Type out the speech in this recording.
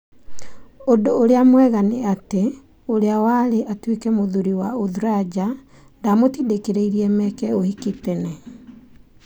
Ũndũ ũrĩa mwega nĩ atĩ, urĩa warĩatuĩke mũthuri wa Uthraja ndamũtindĩkĩrĩirie meke ũhiki tene.